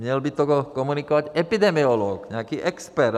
Měl by to komunikovat epidemiolog, nějaký expert.